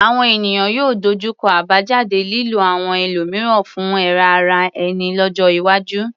Àwọn ènìyàn yóò dojú kọ àbájáde lílo àwọn ẹlòmíràn fún èrè ara ẹni lọ́jọ́ iwájú.